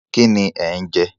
Kíni ẹ̀ ń jẹ?